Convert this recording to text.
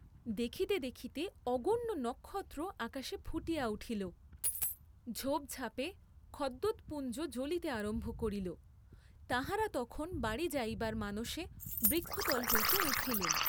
দেখিতে দেখিতে অগণ্য নক্ষত্র আকাশে ফুটিয়া উঠিল, ঝোপ ঝাপে খদ্যোতপুঞ্জ জ্বলিতে আরম্ভ করিল, তাঁহারা তখন বাড়ী যাইবার মানসে বৃক্ষতল হইতে উঠিলেন।